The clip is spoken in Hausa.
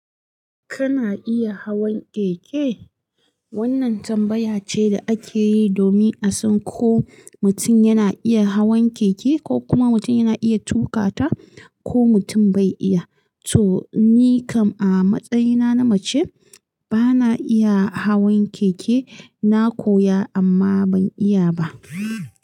Kana iya hawan keke? Wannan tambaya ce da ake yi domin a san ko mutum yana iya hawan keke ko kuma mutum yana iya tuƙa ta ko mutum bai iya. So ni kam a matsayina na mace, bana iya hawan keke. Na koya amma ban iya ba.